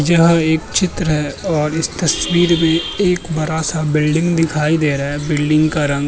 यह एक चित्र है और इस तस्वीर में एक बड़ा-सा बिल्डिंग दिखाई दे रहा है। बिल्डिंग का रंग --